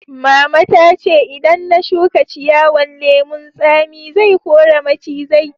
Mama ta ce idan na shuka ciyawan lemun Sami, zai kore macizai.